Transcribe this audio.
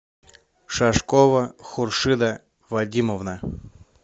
шашкова хуршида вадимовна